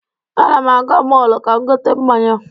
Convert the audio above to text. Ana m aga mọọlụ ka gote mmanya.